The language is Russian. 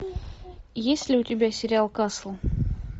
есть ли у тебя сериал касл